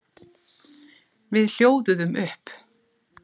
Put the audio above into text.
Við hljóðuðum upp.